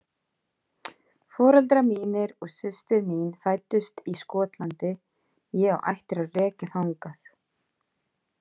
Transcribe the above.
Foreldrar mínir og systir mín fæddust í Skotlandi, ég á ættir að rekja þangað